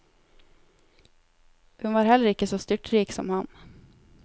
Hun var heller ikke så styrtrik som ham.